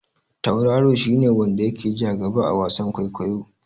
Tauraro shi ne wanda ya ke ja gaba a wasan kwaikwayo.